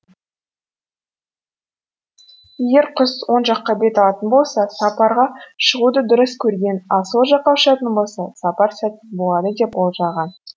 егер құс оң жаққа бет алатын болса сапарға шығуды дұрыс көрген ал сол жаққа ұшатын болса сапар сәтсіз болады деп болжаған